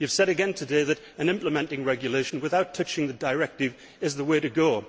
You have said again today that an implementing regulation, without touching the directive, is the way to